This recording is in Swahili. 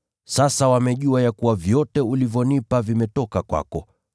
Sasa wamejua ya kuwa vyote ulivyonipa vimetoka kwako,